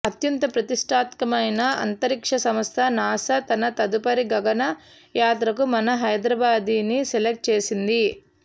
అత్యంత ప్రతిష్టాత్మకమైన అంతరిక్ష సంస్థ నాసా తన తదుపరి గగన యాత్రకు మన హైద్రాబాదీని సెలెక్ట్ చేసింది